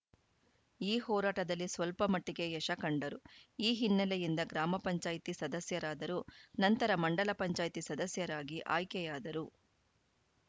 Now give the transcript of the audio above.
ಈ ಹೋರಾಟದಲ್ಲಿ ಸ್ವಲ್ಪ ಮಟ್ಟಿಗೆ ಯಶ ಕಂಡರು ಈ ಹಿನ್ನೆಲೆಯಿಂದ ಗ್ರಾಮ ಪಂಚಾಯತ್ ಸದಸ್ಯರಾದರು ನಂತರ ಮಂಡಲ ಪಂಚಾಯ್ತಿ ಸದಸ್ಯರಾಗಿ ಆಯ್ಕೆಯಾದರು